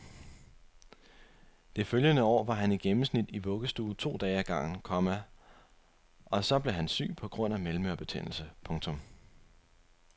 Det følgende år var han i gennemsnit i vuggestue to dage ad gangen, komma og så blev han syg på grund af mellemørebetændelse. punktum